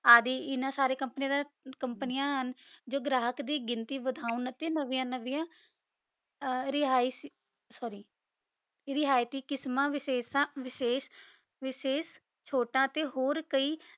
ਅਗੇ ਇਨਾਂ ਸਾਰੀ ਕੋਮ੍ਪਾਨਿਯਾਂ ਹਨ ਜੋ ਗਾਰਾਹਕ ਦੀ ਗਿਣਤੀ ਵਧਣ ਅਤੀ ਨਾਵਿਯਾਂ ਨਾਵਿਯਾਂ ਰਹਾਇਸ਼ sorry ਰੇਹੈਯ੍ਤੀ ਕਿਸਮਾਂ ਵਿਸ਼ੇਸ਼ਣ ਵਿਸ਼ੇਸ਼ ਚੋਟਾਂ ਤੇ ਹੂਊਓਰ ਕਈ